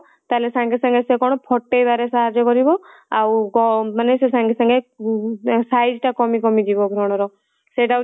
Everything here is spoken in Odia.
ତାହାଲେ ସଙ୍ଗେସଙ୍ଗେ ସିଏ କଣ ଫଟେଇବାରେ ସାହାର୍ଯ୍ୟ କରିବ ଆଉ କଣ ମାନେ ସିଏ ସଙ୍ଗେ ସଙ୍ଗେ size ତା କମି କମି ଯିବ ବ୍ରଣ ର ସେଇଟା ହଉଚି